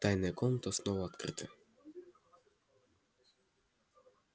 тайная комната снова открыта